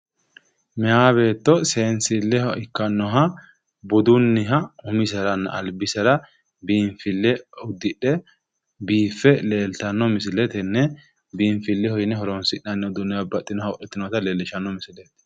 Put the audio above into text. mayi beetto seesnilleho ikkannoha budunniha umiseranna albisera biinfille uddidhe biiffe leeltanno misile tenne biinfileho yine horonsi'nanni uduunne babbaxxinowa wodhiteyoota leellishshanno misleeti